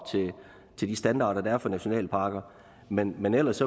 til de standarder der er for nationalparker men men ellers